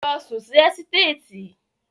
Lọ sùn sí ẹ́sítéètì.